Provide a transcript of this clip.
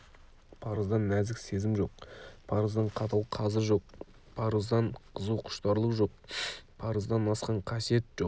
парыздан нәзік сезім жоқ парыздан қатал қазы жоқ парыздан қызу құштарлық жоқ парыздан асқан қасиет жоқ